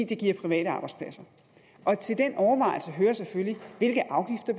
det giver private arbejdspladser til den overvejelse hører selvfølgelig hvilke afgifter